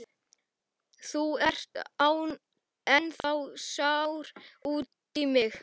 Þú ert ennþá sár út í mig.